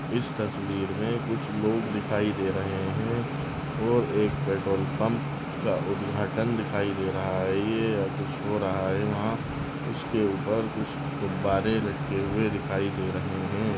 इस तस्वीर में कुछ लोग दिखाई दे रहे है और एक पेट्रोल पंप का उद्घाटन दिखाई दे रहा है ये या कुछ हो रहा है वह उसके ऊपर कुछ गुब्बारे लगे हुए दिखाई दे रहा हैं।